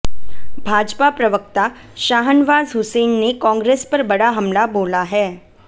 भाजपा प्रवक्ता शाहनवाज हुसैन ने कांग्रेस पर बड़ा हमला बोला है